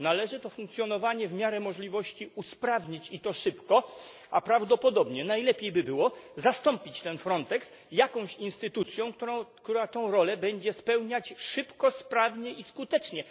Należy to funkcjonowanie w miarę możliwości usprawnić i to szybko, a prawdopodobnie najlepiej by było zastąpić ten Frontex jakąś instytucją, która tę rolę będzie spełniać szybko, sprawnie i skutecznie.